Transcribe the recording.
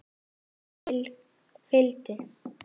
Texti fylgdi.